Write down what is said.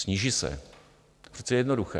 Sníží se, to je přece jednoduché.